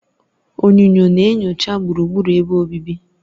Onyunyo na-enyocha gburugburu ebe obibi.